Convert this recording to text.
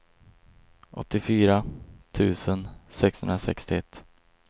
åttiofyra tusen sexhundrasextioett